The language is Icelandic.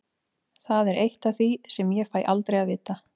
Það er eitt af því sem ég fæ aldrei að vita.